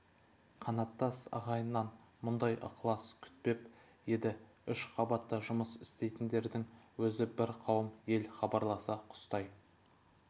қанаттас ағайыннан мұндай ықылас күтпеп еді үш қабатта жұмыс істейтіндердің өзі бір қауым ел хабарласа құстай